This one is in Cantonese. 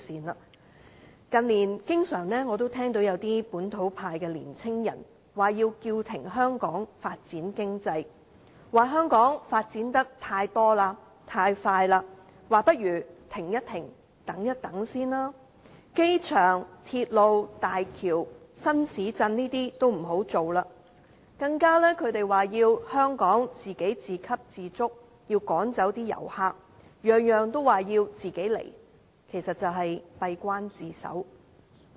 我近年經常聽到一些本土派的年青人，說要叫停香港發展經濟，說香港發展得太多、太快，不如先停一停，等一等；說機場、鐵路、大橋、新市鎮等都不要推行；他們更說香港要自給自足，要趕走遊客；每一件事也說要自己獨攬，其實就是閉關自守。